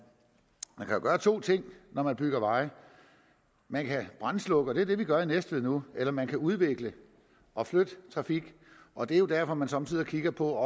kan gøre to ting når man bygger veje man kan brandslukke og det er det vi gør i næstved nu eller man kan udvikle og flytte trafik og det er jo derfor man somme tider kigger på